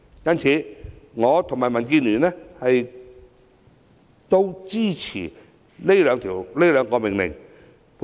因此，我和民建聯都支持這兩項命令。